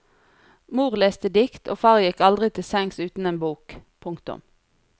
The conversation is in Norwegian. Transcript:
Mor leste dikt og far gikk aldri til sengs uten en bok. punktum